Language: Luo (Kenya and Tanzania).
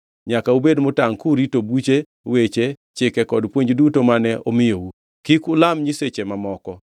Nyaka ubed motangʼ kurito buche, weche, chike kod puonj duto mane omiyou. Kik ulam nyiseche mamoko.